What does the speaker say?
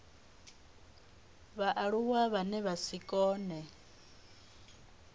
vhaaluwa vhane vha si kone